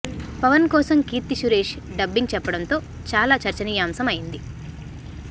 పవన్ కోసం కీర్తి సురేష్ డబ్బింగ్ చెప్పడంతో చాలా చర్చనీయాంశం అయ్యింది